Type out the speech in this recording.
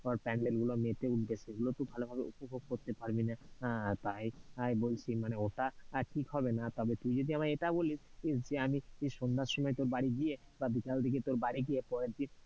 ধর pandel গুলো মেতে উঠবে, সেগুলো তুই ভালোভাবে উপভোগ করতে পারবিনা, তাই বলছি মানে ওটা ঠিক হবেনা, তবে তুই যদি আমায় এটা বলিস যে আমি সন্ধ্যার সময় তোর বাড়ি গিয়ে বা বিকেলের দিকে তোর বাড়ি গিয়ে পরের দিন,